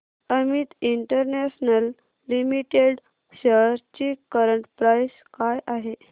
Amit international limited shares ची current price काय आहे